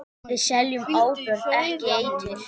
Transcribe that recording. Við seljum áburð, ekki eitur.